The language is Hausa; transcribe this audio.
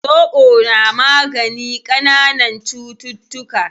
Zobo na magani kananan cututtuka